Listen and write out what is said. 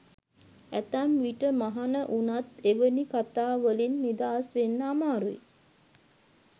ඇතැම් විට මහණ වුණත් එවැනි කතා වලින් නිදහස් වෙන්න අමාරුයි.